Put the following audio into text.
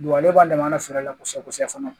ale b'a dɛmɛ kosɛbɛ kosɛbɛ